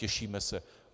Těšíme se.